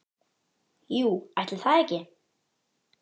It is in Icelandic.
Jú, ætli það ekki!